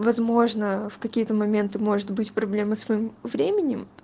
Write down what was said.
возможно в какие-то моменты может быть проблемы с моим временем